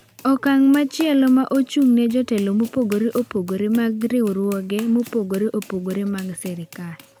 Okang’ machielo ma ochung’ne jotelo mopogore opogore mag riwruoge mopogore opogore mag sirkal.